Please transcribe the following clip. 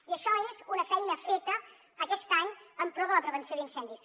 i això és una feina feta aquest any en pro de la prevenció d’incendis